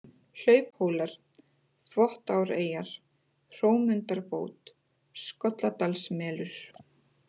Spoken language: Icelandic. Hlauphólar, Þvottáreyjar, Hrómundarbót, Skolladalsmelur